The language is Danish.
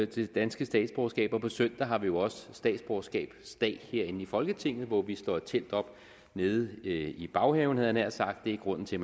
det danske statsborgerskab og på søndag har vi jo også statsborgerskabsdag herinde i folketinget hvor vi slår et telt op nede i baghaven havde jeg nær sagt det er grunden til